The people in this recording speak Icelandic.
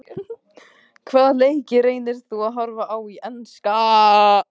Hvaða leiki reynir þú að horfa á í enska?